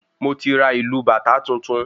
Moti ra ìlù bàtá tuntun